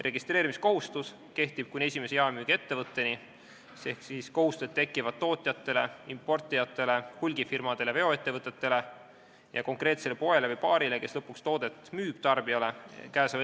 Registreerimiskohustus kehtib kuni esimese jaemüügiettevõtteni ehk kohustused tekivad tootjatel, importijatel, hulgifirmadel, veoettevõtetel ja konkreetsel poel või baaril, kes lõpuks toodet tarbijale müüb.